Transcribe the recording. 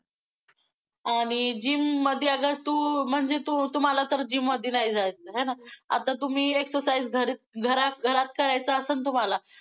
आणि gym मध्ये अगर तू~ म्हणजे तू~तुम्हाला तर gym मध्ये नाही जायचं आहे ना, आता तुम्ही excercise घरी, घरात~घरात करायचं असेल तुम्हाला.